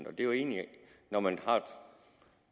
er jo egentlig når man har